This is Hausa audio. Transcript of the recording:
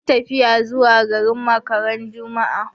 Mun yi tafiya zuwa garin Makka ran juma'a